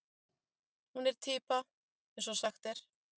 Hún er týpa eins og sagt er.